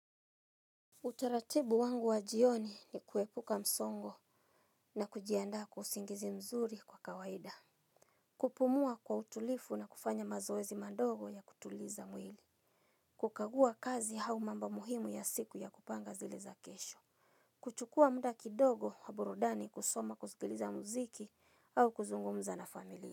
Utaratibu wangu wa jioni ni kuepuka msongo na kujianda kwa usingizi mzuri kwa kawaida. Kupumua kwa utulivu na kufanya mazoezi madogo ya kutuliza mwili. Kukagua kazi au mambo muhimu ya siku ya kupanga zile za kesho. Kutuchua muda kidogo wa burudani kusoma kuzikiliza mziki au kuzungumza na familia.